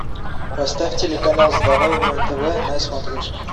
поставь телеканал здоровое тв на смотрешке